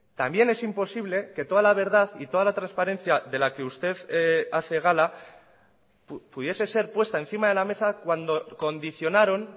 también es imposible que toda la verdad y toda la transparencia de la que usted hace gala pudiese ser puesta encima de la mesa cuando condicionaron